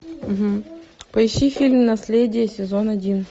поищи фильм наследие сезон один